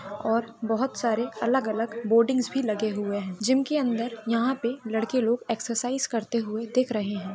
और बहुत सारे अलग अलग बोडिंग भी लगे हुए हैं जिम के अंदर यहां पे लड़के लोग एक्चेर साईज करते हुए दिख रहे हैं।